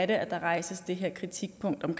det er at der rejses det her kritikpunkt om